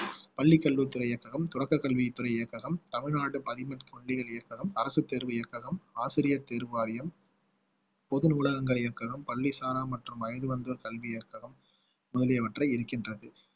பள்ளி கல்வித்துறை இயக்ககம் தொடக்க கல்வித்துறை இயக்ககம் தமிழ்நாடு தொல்லியல் இயக்ககம் அரசு தேர்வு இயக்ககம் ஆசிரியர் தேர்வு வாரியம் பொது நூலகங்கள் இயக்கங்களும் பள்ளி சாரா மற்றும் வயசு வந்தோர் கல்வி இயக்ககம் முதலிய முதலியவற்றை இருக்கின்றது